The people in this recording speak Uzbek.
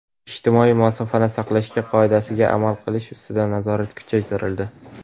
ijtimoiy masofani saqlashga qoidasiga amal qilish ustidan nazorat kuchaytirildi.